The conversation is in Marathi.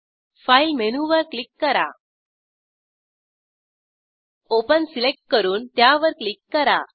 फाइल मेनूवर क्लिक करा ओपन सिलेक्ट करून त्यावर क्लिक करा